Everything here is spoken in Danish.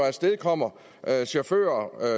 afstedkommer at chauffører